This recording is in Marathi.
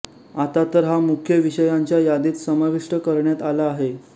आता तर हा मुख्य विषयांच्या यादीत समाविष्ट करण्यात आला आहे